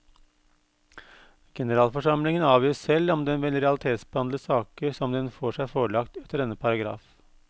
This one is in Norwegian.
Generalforsamlingen avgjør selv om den vil realitetsbehandle saker som den får seg forelagt etter denne paragraf.